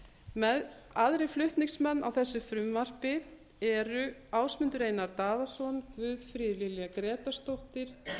lántaka aðrir flutningsmenn á þessu frumvarpi eru ásmundur einar daðason guðfríður lilja grétarsdóttir